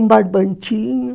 Um barbantinho.